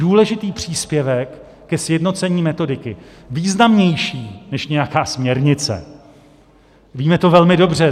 Důležitý příspěvek ke sjednocení metodiky, významnější než nějaká směrnice, víme to velmi dobře.